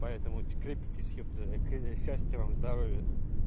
поэтому секрет счастья вам здоровья